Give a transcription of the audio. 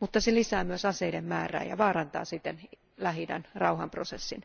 mutta se lisää myös aseiden määrää ja vaarantaa siten Lähi idän rauhanprosessin.